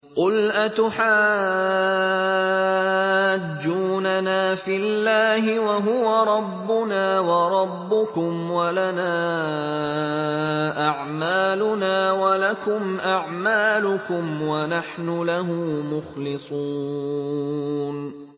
قُلْ أَتُحَاجُّونَنَا فِي اللَّهِ وَهُوَ رَبُّنَا وَرَبُّكُمْ وَلَنَا أَعْمَالُنَا وَلَكُمْ أَعْمَالُكُمْ وَنَحْنُ لَهُ مُخْلِصُونَ